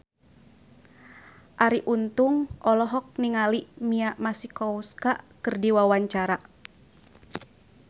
Arie Untung olohok ningali Mia Masikowska keur diwawancara